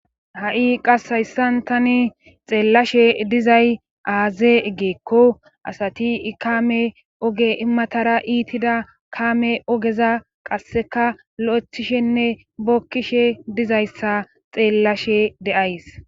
ha7i qas hayssan tani xeellashe dizay aaze gikko asati ikaame oge matara iitida kaame ogeza qasseka lo7echishenne bokkishe dizayssa xeellashe deays